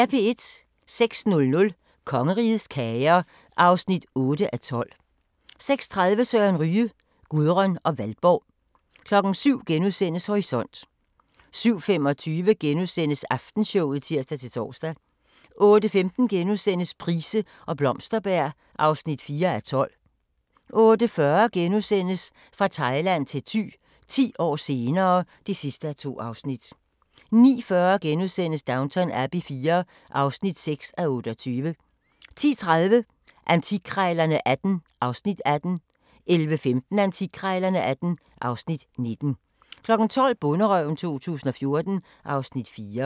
06:00: Kongerigets kager (8:12) 06:30: Søren Ryge: Gudrun og Valborg 07:00: Horisont * 07:25: Aftenshowet *(tir-tor) 08:15: Price og Blomsterberg (4:12)* 08:40: Fra Thailand til Thy – 10 år senere (2:2)* 09:40: Downton Abbey IV (6:28)* 10:30: Antikkrejlerne XVIII (Afs. 18) 11:15: Antikkrejlerne XVIII (Afs. 19) 12:00: Bonderøven 2014 (Afs. 4)